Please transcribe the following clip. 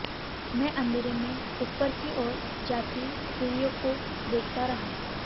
मैं अंधेरे में ऊपर की ओर जाती सीढिय़ों को देखता रहा